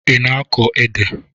Ị na-akọ ede?